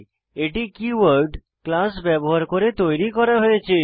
এটি keyword class ব্যবহার করে তৈরী করা হয়েছে